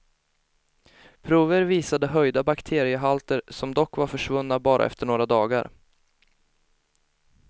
Prover visade höjda bakteriehalter, som dock var försvunna bara efter några dagar.